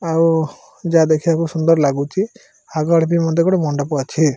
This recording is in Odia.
ଆଉ ଯାହା ଦେଖିବାକୁ ସୁନ୍ଦର ଲାଗୁଚି ଆଗ ଆଡେ ଦେଖ ଗୋଟେ ମଣ୍ଡପ ଅଛି।